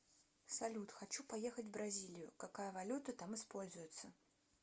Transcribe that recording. салют хочу поехать в бразилию какая валюта там используется